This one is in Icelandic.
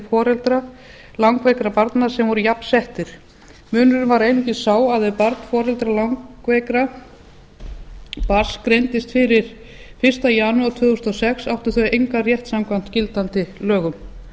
foreldra langveikra barna sem voru jafnsettir munurinn var einungis sá að ef barn foreldra langveiks barns greindist fyrir fyrsta janúar tvö þúsund og sex áttu þau engan rétt samkvæmt gildandi lögum